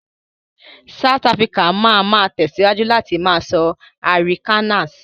South Áfíríkà ma ma tẹ̀síwájú láti má sọ Arikannas